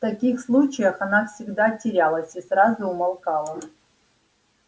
в таких случаях она всегда терялась и сразу умолкала